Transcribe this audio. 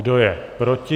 Kdo je proti?